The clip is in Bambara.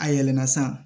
A yɛlɛnna san